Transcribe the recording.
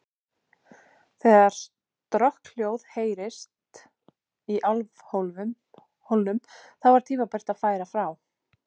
Þegar strokkhljóð heyrðist í álfhólnum, þá var tímabært að færa frá.